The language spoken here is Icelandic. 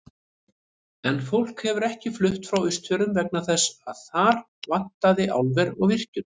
En fólk hefur ekki flutt frá Austfjörðum vegna þess að þar vantaði álver og virkjun.